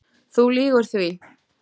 Þú lýgur því